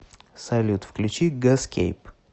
салют включи гаскейп